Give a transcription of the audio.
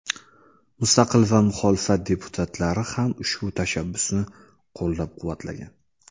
Mustaqil va muxolifat deputatlari ham ushbu tashabbusni qo‘llab-quvvatlagan.